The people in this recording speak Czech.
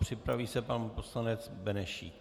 Připraví se pan poslanec Benešík.